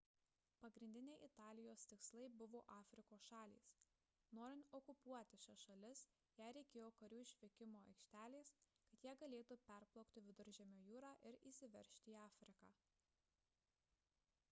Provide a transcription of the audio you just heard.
pagrindiniai italijos tikslai buvo afrikos šalys norint okupuoti šias šalis jai reikėjo karių išvykimo aikštelės kad jie galėtų peplaukti viduržemio jūrą ir įsiveržti į afriką